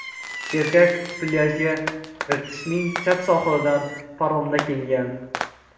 Erkak plyajga Irtishning chap sohilidan paromda kelgan.